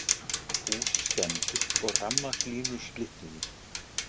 Hús skemmdust og rafmagnslínur slitnuðu